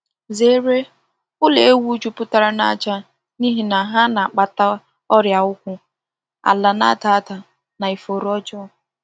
Zere ụlọ ewu jupụtara na aja n’ihi na ha na-akpata ọrịa ụkwụ, ala na-ada ada, na ifuru ọjọọ.